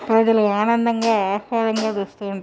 ప్రజలు ఆనందంగా ఆహ్లాదంగా చూస్తూ ఉన్నారు.